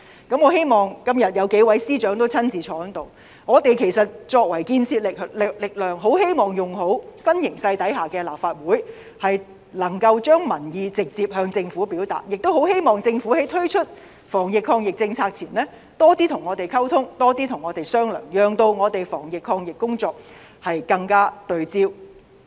今天數位司長也在席上，我們作為這股建設力量，很希望運用新形勢下的立法會，能夠將民意直接向政府表達，亦希望政府在推出防疫抗疫政策前，多些跟我們溝通和商量，讓我們的防疫抗疫工作更加對焦。